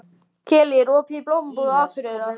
Kellý, er opið í Blómabúð Akureyrar?